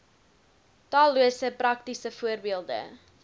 tallose praktiese voorbeelde